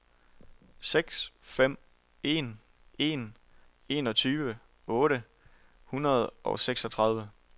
seks fem en en enogtyve otte hundrede og seksogtredive